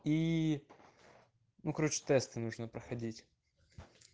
и ну короче тесты нужно проходить